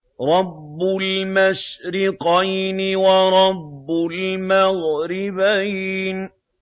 رَبُّ الْمَشْرِقَيْنِ وَرَبُّ الْمَغْرِبَيْنِ